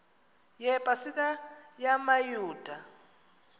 yepa sika yamayuda